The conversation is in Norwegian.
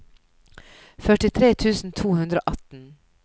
førtitre tusen to hundre og atten